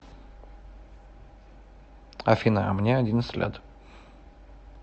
афина а мне одиннадцать лет